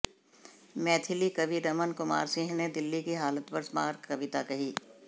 मैथिली कवि रमण कुमार सिंह ने दिल्ली की हालत पर मारक कविता कही